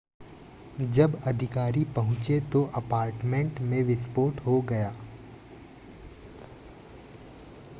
जब अधिकारी पहुंचे तो अपार्टमेंट में विस्फोट हो गया